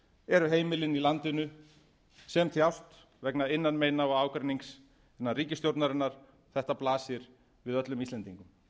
eru heimilin í landinu sem þjást vegna innanmeina og ágreinings innan ríkisstjórnarinnar þetta blasir við öllum íslendingum